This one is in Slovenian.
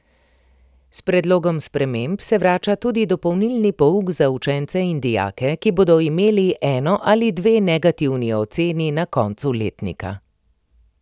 S predlogom sprememb se vrača tudi dopolnili pouk za učence in dijake, ki bodo imeli eno ali dve negativni oceni na koncu letnika.